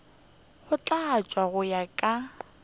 go tlatšwa go ya ka